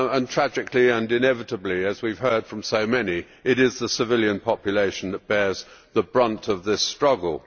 Tragically and inevitably, as we have heard from so many, it is the civilian population that bears the brunt of this struggle.